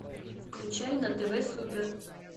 включай на тв супер